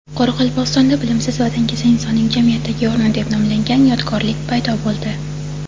Qoraqalpog‘istonda "Bilimsiz va dangasa insonning jamiyatdagi o‘rni" deb nomlangan yodgorlik paydo bo‘ldi.